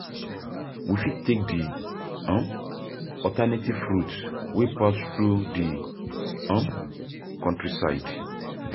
we fit take di alternative route wey pass through di countryside.